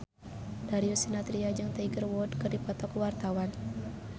Darius Sinathrya jeung Tiger Wood keur dipoto ku wartawan